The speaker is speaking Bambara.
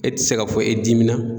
E ti se ka fɔ e dimina.